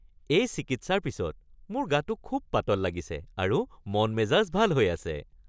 এই চিকিৎসাৰ পিছত মোৰ গাটো খুব পাতল লাগিছে আৰু মন-মেজাজ ভাল হৈ আছে